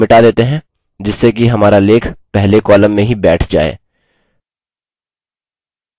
कुछ वाक्यों को मिटा देते हैं जिससे कि हमारा let पहले column में ही बैठ जाए